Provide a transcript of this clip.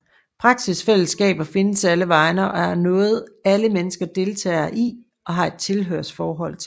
Praksisfællesskaber findes alle vegne og er noget alle mennesker deltager i og har et tilhørsforhold til